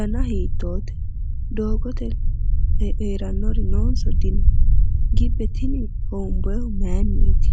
dana hiitoote? doogote heerannori noonso dino? gibbe tini hoomboyiihu maayiinniiti?